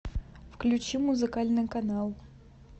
включи музыкальный канал